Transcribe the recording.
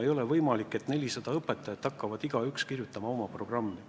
Ei ole võimalik, et 400 õpetajat hakkavad igaüks koostama oma programmi.